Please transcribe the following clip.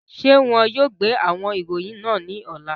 Ṣe wọn yóò gbe awọn iroyin naa ni ọla?